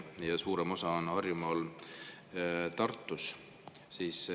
Ja suurem osa neist on Harjumaal ja Tartus.